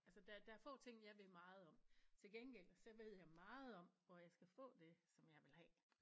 Altså der der er få ting jeg ved meget om til gengæld så ved jeg meget om hvor jeg skal få det som jeg vil have